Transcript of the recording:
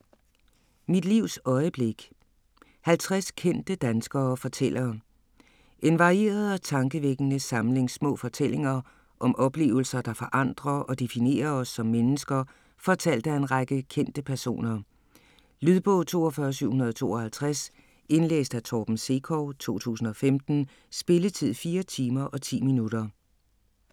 Mit livs øjeblik: 50 kendte danskere fortæller En varieret og tankevækkende samling små fortællinger om oplevelser, der forandrer og definerer os som mennesker, fortalt af en række kendte personer. Lydbog 42752 Indlæst af Torben Sekov, 2015. Spilletid: 4 timer, 10 minutter.